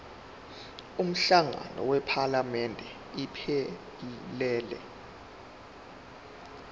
umhlangano wephalamende iphelele